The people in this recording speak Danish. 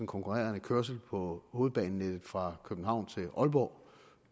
konkurrerende kørsel på hovedbanenettet fra københavn til aalborg